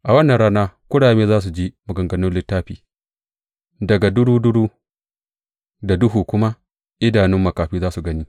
A wannan rana kurame za su ji maganganun littafi, daga duruduru da duhu kuma idanun makafi za su gani.